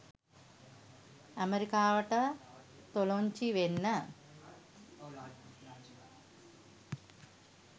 ඇමරිකාවට තොලොංචි වෙන්න